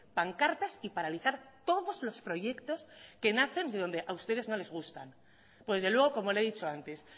pancartas y paralizar todos los proyectos que nacen de donde a ustedes no les gustan pues desde luego como le he dicho antes